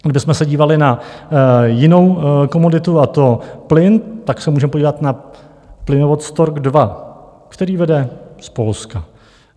Kdybychom se dívali na jinou komoditu, a to plyn, tak se můžeme podívat na plynovod Stork II, který vede z Polska.